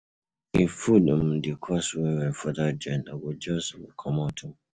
If food um dey cost well-well for that joint, I go just um comot. um